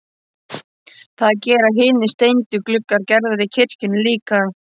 Það gera hinir steindu gluggar Gerðar í kirkjunni líka.